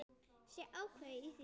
Sé ákveðin í því.